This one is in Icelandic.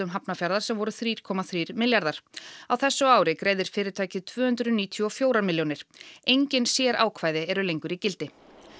Hafnarfjarðar sem voru þrjú komma þrír milljarðar á þessu ári greiðir fyrirtækið tvö hundruð níutíu og fjögur milljónir engin sérákvæði eru lengur í gildi